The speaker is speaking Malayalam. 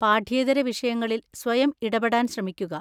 പാഠ്യേതര വിഷയങ്ങളിൽ സ്വയം ഇടപെടാൻ ശ്രമിക്കുക.